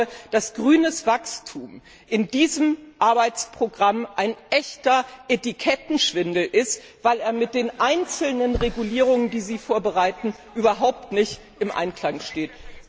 Ich glaube, dass grünes Wachstum in diesem Arbeitsprogramm ein echter Etikettenschwindel ist, weil er mit den einzelnen Regulierungen, die Sie vorbereiten, überhaupt nicht im Einklang steht.